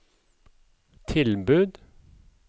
tilbud